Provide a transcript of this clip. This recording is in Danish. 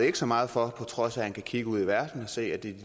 ikke så meget for på trods af at han kan kigge ud i verden og se at det